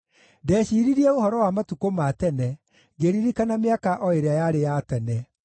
Ndeciiririe ũhoro wa matukũ ma tene, ngĩririkana mĩaka o ĩrĩa yarĩ ya tene;